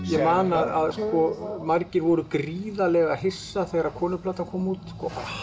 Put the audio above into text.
ég man að margir voru gríðarlega hissa þegar kona kom út